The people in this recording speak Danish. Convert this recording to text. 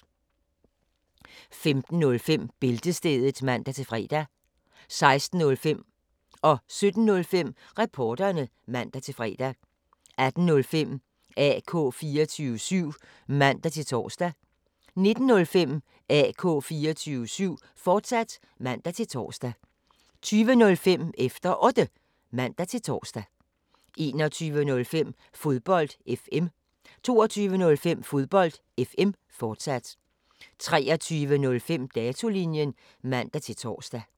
15:05: Bæltestedet (man-fre) 16:05: Reporterne (man-fre) 17:05: Reporterne (man-fre) 18:05: AK 24syv (man-tor) 19:05: AK 24syv, fortsat (man-tor) 20:05: Efter Otte (man-tor) 21:05: Fodbold FM 22:05: Fodbold FM, fortsat 23:05: Datolinjen (man-tor)